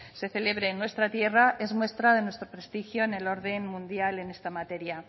se celebre en nuestra tierra es muestra de nuestro prestigio en el orden mundial en esta materia